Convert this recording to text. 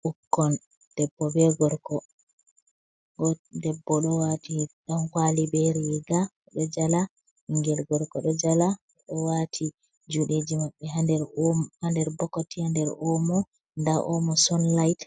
Ɓukkon debbo be gorko, debbo ɗo waati ɗankuwali be riiga ɗo jala, ɓinngel gorko ɗo jala. Ɓe ɗo waati juuɗeeji maɓɓe, haa nder bokoti, haa nder oomo. Ndaa oomo sonlayit